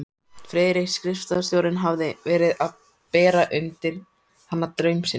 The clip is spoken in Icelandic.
Friðrik skrifstofustjóri hafði verið að bera undir hana draum sinn.